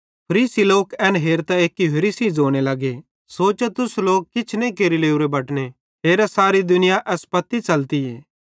फरीसी लोक एन हेरतां एक्की होरि सेइं ज़ोने लगे सोचा तुस लोक किछ नईं केरि लोरे बटने हेरा सारी दुनिया एस पत्ती च़ली